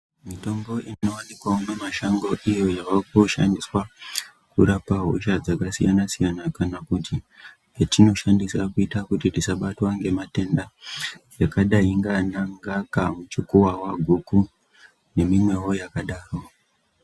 Mitombo inowanikwawo mumashango iyo yaakooshandiswa kurapa hosha dzakasiyana siyana kana kuti petinoshandisa kuita kuti tisabatwa ngematenda yakadai ngaana ngaka , mutsvukuwawa , guku nemimwewo yakadaro .